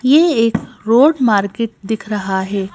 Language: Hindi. ये एक रोड मार्केट दिख रहा है।